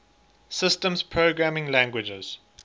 systems programming languages